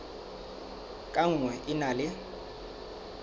ka nngwe e na le